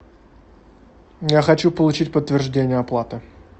я хочу получить подтверждение оплаты